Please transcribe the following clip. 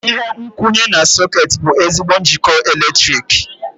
Ihe nkwụnye na sọ̀két bụ ezigbo njikọ eletrik.